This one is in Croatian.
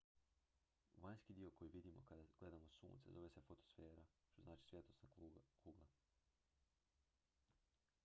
"vanjski dio koji vidimo kada gledamo sunce zove se fotosfera što znači "svjetlosna kugla"".